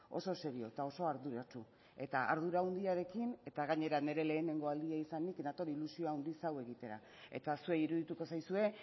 oso serio eta oso arduratsu eta ardura handiarekin eta gainera nire lehen aldia izanik nator ilusio handiz hau egitera eta zuei irudituko zaizue